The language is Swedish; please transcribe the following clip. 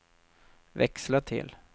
växla till